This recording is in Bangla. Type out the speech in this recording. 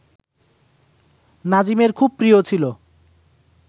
নাজিমের খুব প্রিয় ছিল